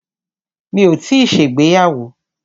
Mi ò tíì ṣègbéyàwó.